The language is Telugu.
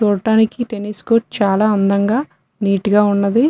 చుటానికి టెన్నిస్ కోర్టు చాలా అందంగా నీట్ గా ఉన్నది.